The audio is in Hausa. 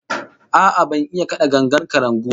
A'a, ban iya kada gangar kalangu ba